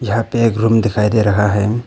यहां पे एक रूम दिखाई दे रहा है।